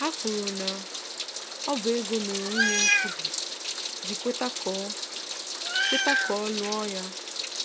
Ha kwuru na ọ bụ ego mere nwunye Nkubi ji kweta ka ọ kweta ka ọ lụọ ya